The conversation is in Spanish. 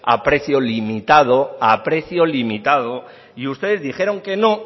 a precio limitado a precio limitado y ustedes dijeron que no